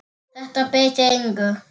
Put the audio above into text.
Þetta breytir engu.